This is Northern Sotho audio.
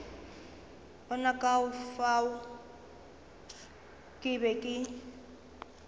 bona ka fao ke be